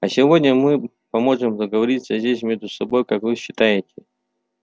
а сегодня мы поможем договориться здесь между собой как вы считаете